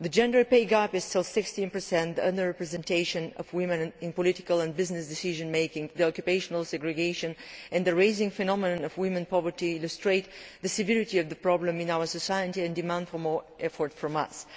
The gender pay gap is still 16, while under representation of women in political and business decision making, occupational segregation and the growing problem of women's poverty illustrate the severity of the problem in our society and demand more effort from us.